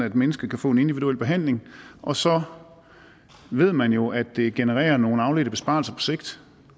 at mennesker kan få en individuel behandling og så ved man jo at det genererer nogle afledte besparelser på sigt